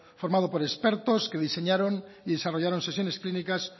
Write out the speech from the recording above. formado por expertos que diseñaron y desarrollaron sesiones clínicas